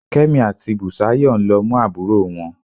Kẹ́mi àti Bùsáyọ̀ ń lọ mú àbúrò wọn